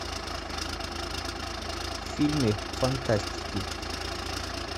фильмы фантастики